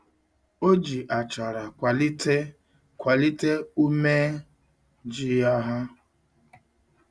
O ji achara kwalite kwalite ume ji ya ha.